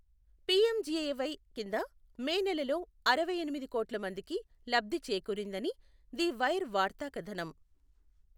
PMGAY కింద May నెలలో అరవైఎనిమిది కోట్ల మందికి లబ్ధి చేకూరిందని, ది వైర్ వార్తా కథనం